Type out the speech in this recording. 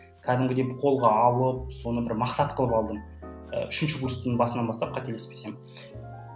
кәдімгідей қолға алып соны бір мақсат қылып алдым і үшінші курстың басынан бастап қателеспесем